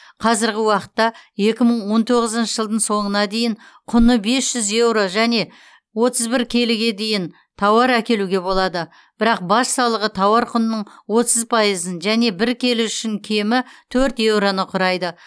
қазіргі уақытта екі мың он тоғызыншы жылдың соңына дейін құны бес жүз еуро және отыз бір келіге дейін тауар әкелуге болады бірақ баж салығы тауар құнының отыз пайызын және бір келі үшін кемі төрт еуроны құрайды